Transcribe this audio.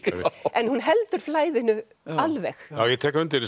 en hún heldur flæðinu alveg ég tek undir